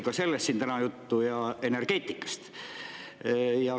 Ka sellest oli siin täna juttu, samuti energeetikast.